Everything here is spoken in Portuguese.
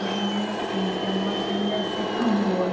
Hoje eu me arrependo, porque a morte não deve ser tão boa.